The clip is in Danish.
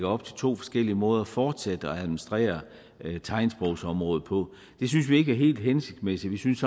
op til to forskellige måder at fortsætte og administrere tegnsprogsområdet på det synes vi ikke er helt hensigtsmæssigt vi synes